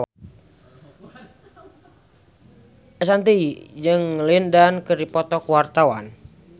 Ashanti jeung Lin Dan keur dipoto ku wartawan